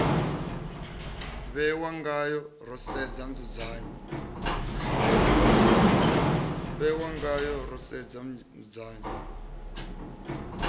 vhewa ngayo ro sedza nzudzanyo